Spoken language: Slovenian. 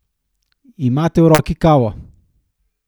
Imate v roki kavo?